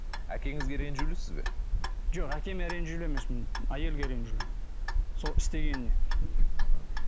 әкеңізге ренжілусіз бе жоқ әкеме ренжілу емеспін әйелге ренжулімін сол істегеніне мхм